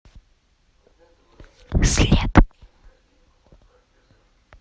след